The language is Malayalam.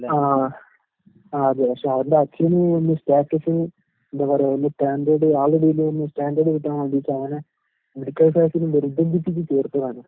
ആഹ് ആഹ് ആഹ്. ആഹ് അതെ പക്ഷെ അവന്റെ അച്ഛന് വല്യ സ്റ്റാറ്റസ് എന്താ പറയാ വല്യ സ്റ്റാൻഡേഡ് ആളുകളെടേല് സ്റ്റാൻഡേഡ് കിട്ടാൻ വേണ്ടീട്ടവനെ മെഡിക്കൽ ക്ലാസ്സിന് നിർബന്ധിപ്പിച്ച് ചേർത്തതാണ്.